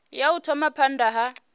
ya u thoma phanda ha